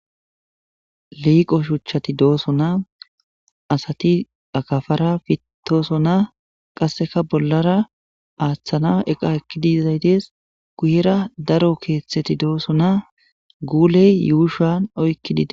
liiqo shuchchati doosonaa asati akafara fittosonaa qasseka bollara aaththana eqa ekkidizay dees guyera daro keeththeti doosonaa guuley yuushan oykkidi dees